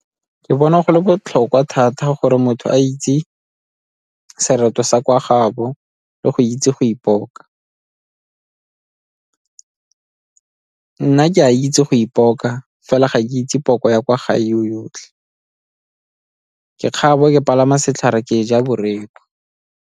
Ke bona go le botlhokwa thata gore motho a itse sereto sa kwa gaabo le go itse go ipoka. Nna ke a itse go ipoka fela ga ke itse poko ya kwa gae yo yotlhe. Ke kgabo, ke palama setlhare ke ja boreku.